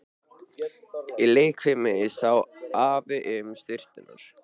Í leikfiminni sá Afi um sturturnar.